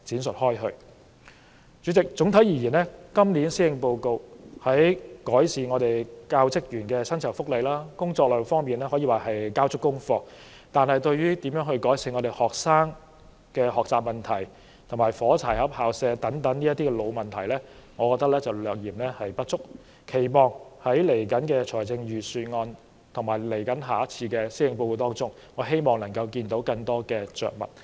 主席，整體而言，今年施政報告在改善教職員薪酬福利和工作量方面可說是交足功課，但對於如何改善學生的學習問題，以及"火柴盒校舍"等老問題，我認為略嫌不足，並期望在接下來的財政預算案和下次的施政報告中，會有更多的着墨。